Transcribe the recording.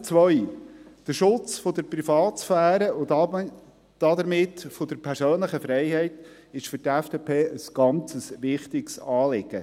Punkt 2, der Schutz der Privatsphäre, und damit der persönlichen Freiheit ist für die FDP ein sehr wichtiges Anliegen.